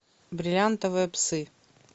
бриллиантовые псы